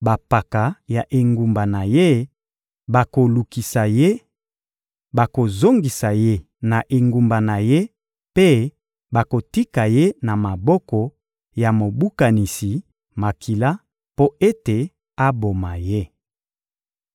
bampaka ya engumba na ye bakolukisa ye, bakozongisa ye na engumba na ye mpe bakotika ye na maboko ya mobukanisi makila mpo ete aboma ye.